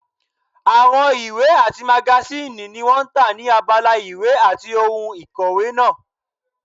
Àwọn ìwé àti magasíìnì ni wọ́n tà ní abala ìwé àti ohun ìkòwé náà